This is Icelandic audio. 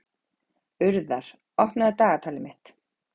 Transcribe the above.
Urðar, opnaðu dagatalið mitt.